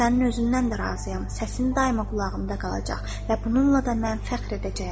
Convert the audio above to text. Sənin özündən də razıyam, səsin daima qulağımda qalacaq və bununla da mən fəxr edəcəyəm.